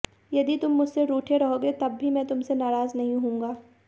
यदि तुम मुझसे रूठे रहोगे तब भी मैं तुमसे नाराज़ नहीं हूंगा